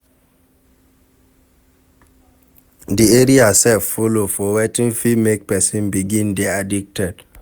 Di area sef follow for wetin fit make person begin dey addicted